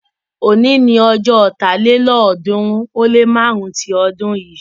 òní ní ojó Ọ̀tálélọ́ọ̀ọ́dúnrún ó lé márùn-ún tí odun yin.